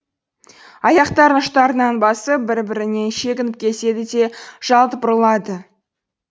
аяқтарын ұштарынан басып бір бірінен шегініп кетеді де жалт бұрылады